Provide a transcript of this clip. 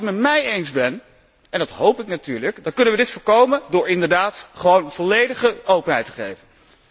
Dus als u het met mij eens bent en dat hoop ik natuurlijk dan kunnen we dit voorkomen door inderdaad gewoon volledige openheid te garanderen.